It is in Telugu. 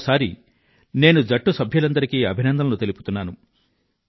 మరో సారి నేను జట్టు సభ్యులందరికీ అభినందనలు తెలుపుతున్నాను